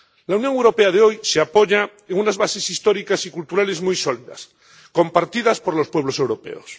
La Unión Europea de hoy se apoya en unas bases históricas y culturales muy sólidas, compartidas por los pueblos europeos.